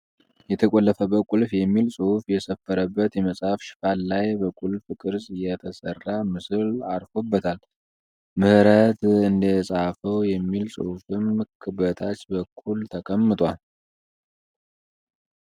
የተቆለፈበት ቁልፍ የሚል ጽሁፍ የሰፈረበት የመጽሃፍ ሽፋን ላይ በቁልፍ ቅርጽ የተሰራ ምስል አርፎበታል። ምህረት እንደጻፈው የሚል ጽሁፍም በታች በኩል ተቀምጧል።